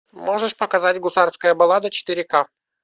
можешь показать гусарская баллада четыре ка